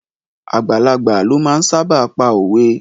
Àgbàlagbà lo máa ń sáábà pa òwe